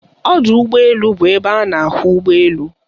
Ọdọ ụgbọ elu bụ ebe a na-ahụ ụgbọ elu.